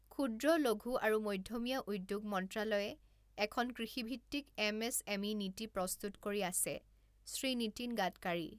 ক্ষূদ্ৰ, লঘু আৰু মধ্যমীয়া উদ্যোগ মন্ত্ৰালয়ে এখন কৃষিভিত্তিক এম এচ এম ই নীতি প্ৰস্তুত কৰি আছেঃ শ্ৰী নীতিন গাডকাৰী